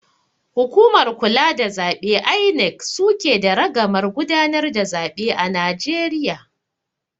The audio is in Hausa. Hukumar kula da zaɓe (INEC) suke da ragamar gudanar da zaɓe a Najeriya